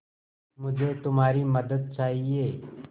मुझे तुम्हारी मदद चाहिये